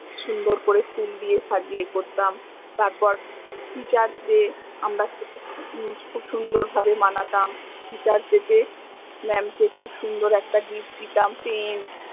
সুন্দর করে ফুল দিয়ে সাজিয়ে করতাম, তারপর teachers দের আমরা খুব সুন্দর ভাবে মানাতাম teachersday তে mam কে খুব সুন্দর একটা gift দিতাম pen